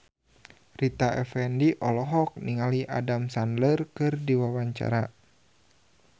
Rita Effendy olohok ningali Adam Sandler keur diwawancara